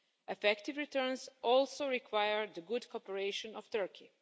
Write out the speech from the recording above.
Effective returns also require the good cooperation of Turkey.